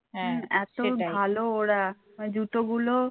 এত ভালো ওরা মানে জুতো গুলো